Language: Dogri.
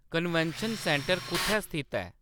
कन्वेंशन सेंटर कुʼत्थै स्थित ऐ